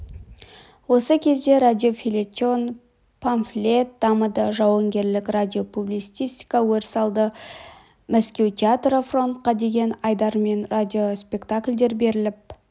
осы кезде радиофельетон памфлет дамыды жауынгерлік радиопублицистика өріс алды мәскеу театры фронтқа деген айдармен радиоспектакльдер беріліп